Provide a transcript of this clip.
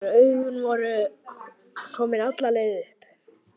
Hrökk við þegar augun voru komin alla leið upp.